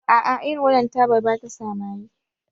A a, irin wannan tabar ba ta sa maye